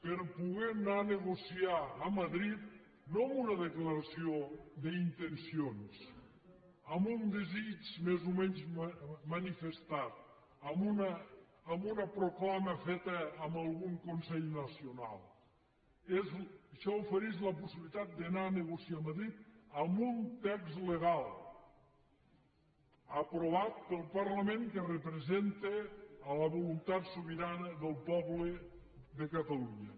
per poder anar a negociar a madrid no amb una declaració d’intencions amb un desig més o menys manifestat amb una proclama feta en algun consell nacional això ofereix la possibilitat d’anar a negociar a madrid amb un text legal aprovat pel parlament que representa la voluntat sobirana del poble de catalunya